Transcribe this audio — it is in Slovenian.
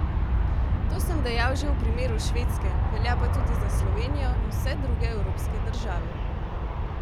To sem dejal že v primeru Švedske, velja pa tudi za Slovenijo in vse druge evropske države.